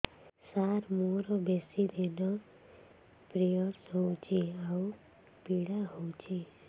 ସାର ମୋର ବେଶୀ ଦିନ ପିରୀଅଡ଼ସ ହଉଚି ଆଉ ପୀଡା ହଉଚି